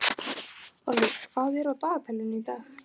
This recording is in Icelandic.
Olli, hvað er í dagatalinu í dag?